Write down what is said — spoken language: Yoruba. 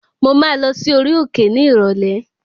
Mo máa lọ sí orí òkè ní ìrọ̀lẹ́